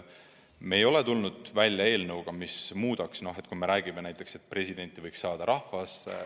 Me ei ole tulnud välja eelnõuga, mis muudaks näiteks seda, et presidenti võiks valida rahvas.